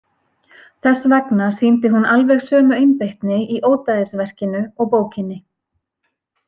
Þess vegna sýndi hún alveg sömu einbeitni í ódæðisverkinu og bókinni.